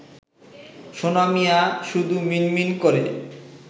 সোনা মিয়া শুধু মিনমিন করে